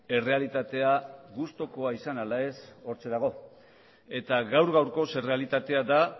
errealitatea gustukoa izan ala ez hortxe dago eta gaur gaurkoz errealitatea da